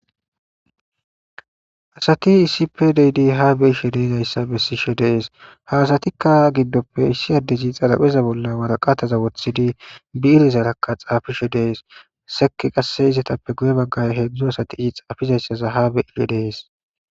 Asati issippe de'idi ha be'ishshen de'es ha asatappe issoy xarappezza bolla waraqatta woththidi bi'rezarakka xafishe de'es sekke qasse izzetippe hedzdzu asati xafizayza ha be'idi de'es.